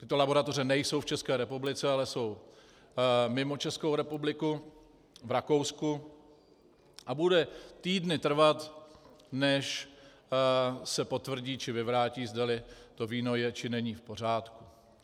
Tyto laboratoře nejsou v České republice, ale jsou mimo Českou republiku, v Rakousku, a bude týdny trvat, než se potvrdí či vyvrátí, zdali to víno je či není v pořádku.